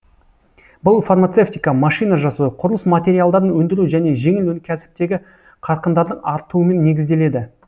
бұл фармацевтика машина жасау құрылыс материалдарын өндіру және жеңіл өнеркәсіптегі қарқындардың артуымен негізделеді